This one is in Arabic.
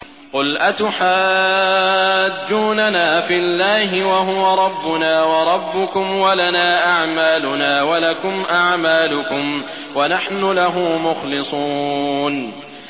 قُلْ أَتُحَاجُّونَنَا فِي اللَّهِ وَهُوَ رَبُّنَا وَرَبُّكُمْ وَلَنَا أَعْمَالُنَا وَلَكُمْ أَعْمَالُكُمْ وَنَحْنُ لَهُ مُخْلِصُونَ